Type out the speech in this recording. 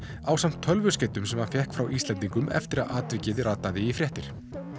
ásamt tölvuskeytum sem hann fékk frá Íslendingum eftir að atvikið rataði í fréttir